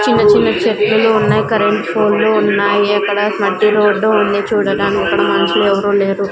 చిన్న చిన్న చెట్టు లు ఉన్నాయి కరెంటు పోల్ లు ఉన్నాయి అక్కడ మట్టి రోడ్డు ఉంది. చూడడానికి అక్కడ మనుషులు ఎవరూ లేరు.